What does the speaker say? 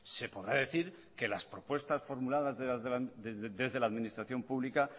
se podrá decir que las propuestas formuladas desde la administración pública